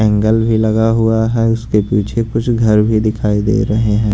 Angle भी लगा हुआ है उसके पीछे कुछ घर भी दिखाई दे रहे हैं।